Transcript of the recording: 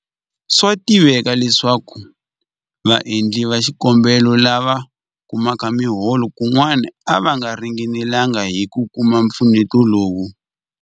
Swa tiveka leswaku vaendli va xikombelo lava kumaka miholo kun'wana a va ringanelanga hi ku kuma mpfuneto lowu.